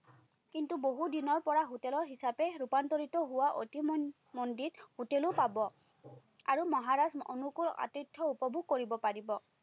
কিন্ত, বহুত দিনৰপৰা হোটেলৰ হিচাপে ৰূপান্তৰিত হোৱা অতিমন্দিৰ হোটেলো পাব, আৰু মহাৰাজ অনুকুল আতিথ্য উপভোগ কৰিব পাৰিব।